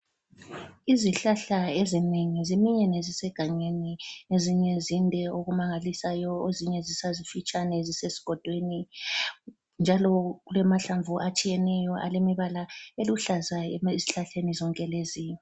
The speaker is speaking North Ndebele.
Izihlahla ezinengi ziminyene ezisegangeni ezinye zinde okumangalisayo ezinye zisazimfitshane zisesigodweni njalo kulamahlamvu atshiyeneyo alemibala eluhlaza ezihlahleni lezi.